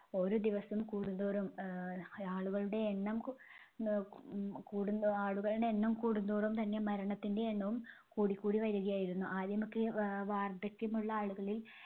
ഓരോ ദിവസം കൂടുംതോറും ആഹ് ആ~ആളുകളുടെ എണ്ണം കൂടുമ്പോ ആളുകളുടെ എണ്ണം കൂടുംതോറും തന്നെ മരണത്തിന്റെ എണ്ണവും കൂടിക്കൂടി വരികയായിരുന്നു. ആദ്യമൊക്കെ വാ~വാർദ്ധക്യമുള്ള ആളുകളിൽ